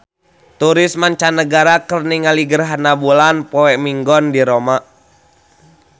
Turis mancanagara keur ningali gerhana bulan poe Minggon di Roma